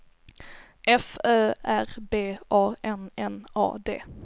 F Ö R B A N N A D